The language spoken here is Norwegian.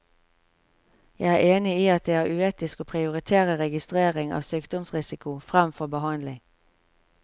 Jeg er enig i at det er uetisk å prioritere registrering av sykdomsrisiko fremfor behandling.